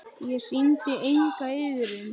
Ég sýndi enga iðrun.